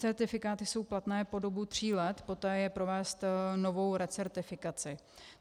Certifikáty jsou platné po dobu tří let, poté je provést novou recertifikaci.